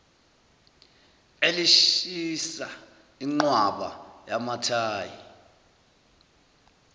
belishisa ingqwaba yamathayi